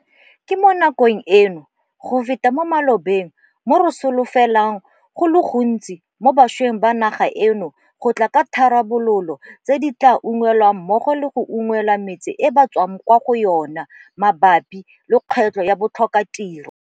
Ke mo nakong eno go feta mo malobeng mo re solofelang go le gontsi mo bašweng ba naga eno go tla ka ditharabololo tse di tla ba unngwelang mmogo le go unngwela metse e ba tswang kwa go yona mabapi le kgwetlho ya botlhokatiro.